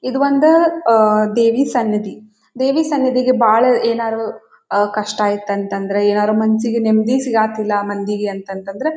ಇದು ಒಂದು ಅಹ್ ದೇವಿ ಸನ್ನಿದಿ. ದೇವಿ ಸನ್ನಿದಿಗೆ ಬಹಳ ಏನಾದ್ರು ಅಹ್ ಕಷ್ಟ ಇತ್ತು ಅಂತ ಅಂದ್ರೆ ಏನಾರು ಮನ್ಸಿಗೆ ನೆಮ್ಮದಿ ಸಿಗಾತಿಲ್ಲ ಮಂದಿಗೆ ಅಂತ ಅಂದ್ರ--